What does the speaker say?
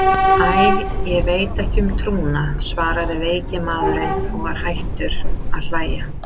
Æ, ég veit ekki um trúna, svaraði veiki maðurinn og var hættur að hlæja.